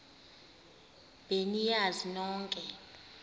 be niyazi nonk